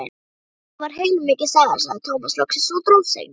Þetta var heilmikil saga, sagði Tómas loksins og dró seiminn.